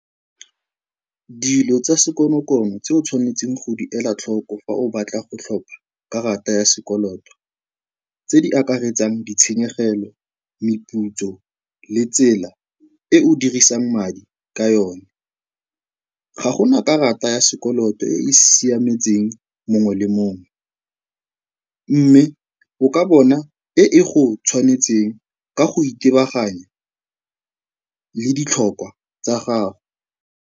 Dilo tsa sekonokono tse o tshwanetseng go di ela tlhoko fa o batla go tlhopha karata ya sekoloto tse di akaretsang ditshenyegelo, meputso, le tsela e o dirisang madi ka yone. Ga go na karata ya sekoloto e e siametseng mongwe le mongwe mme o ka bona e e go tshwanetseng ka go itebaganya le ditlhokwa tsa gago.